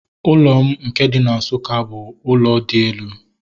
Ụlọ m nke dị na Nsukka bụ ụlọ dị elu